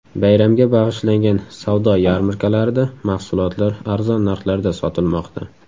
Bayramga bag‘ishlangan savdo yarmarkalarida mahsulotlar arzon narxlarda sotilmoqda.